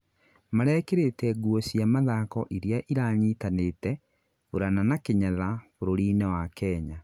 marekĩrĩte nguo cia mathako iria iranyitanĩte- bũrana na kĩnyatha bũrurĩ-inĩ wa Kenya